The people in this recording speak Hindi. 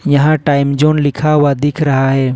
यहां टाइम जोन लिखा हुआ दिख रहा है।